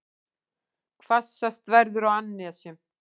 Hvassast verður á annesjum